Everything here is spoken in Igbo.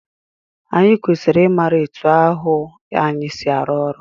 Anyị kwesịrị ị mara etu ahụ anyị si arụ ọrụ.